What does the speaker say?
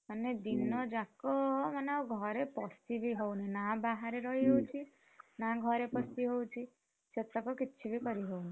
ମାନେ ଦିନ ଯାକ ମାନେ ଆଉ ଘରେ ପଶି ବି ହଉନି, ନା ବାହାରେ ରହି ହଉଛି, ନା ଘରେ ପଶି ହଉଛି? ସେ ସବୁ କିଛି ବି କରିହଉନି।